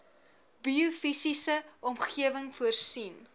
biofisiese omgewing voorsien